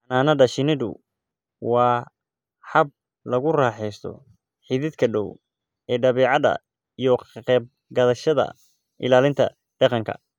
Xannaanada shinnidu waa hab lagu raaxaysto xidhiidhka dhow ee dabeecadda iyo ka qayb qaadashada ilaalinta deegaanka.